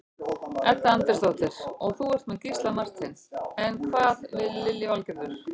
Edda Andrésdóttir: Og þú ert með Gísla Martein, eða hvað Lillý Valgerður?